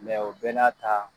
Mɛ o bɛ n'a ta